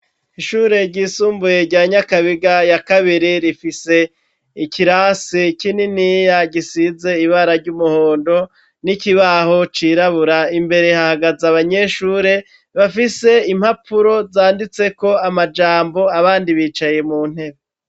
Ishure ryisumbuye, rya Nyakabiga ya kabiri, rifise ikirasi kininiya, gisize ibara ry'umuhondo, n'ikibaho cirabura; imbere hahagaze abanyeshure, bafise impapuro zanditseko amajambo abandi bicaye mu ntebe.